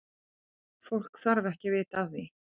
Fólk þarf ekki að vita af því.